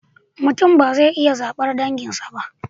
Mutum ba zai iya zabar danginsa ba